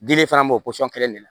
Dili fana b'o kelen de la